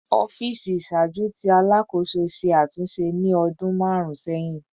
Ọfiisi iṣaaju ti Alakoso ṣe atunṣe ni ọdun marun sẹhin